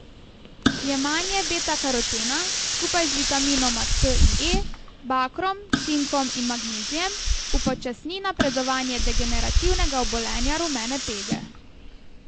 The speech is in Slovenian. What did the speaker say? Jemanje betakarotena skupaj z vitaminoma C in E, bakrom, cinkom in magnezijem upočasni napredovanje degenerativnega obolenja rumene pege.